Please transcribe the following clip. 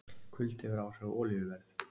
Kuldi hefur áhrif á olíuverð